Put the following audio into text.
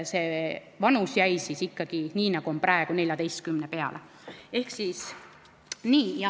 See vanus jäi ikkagi nii, nagu on praegu, 14. eluaasta peale.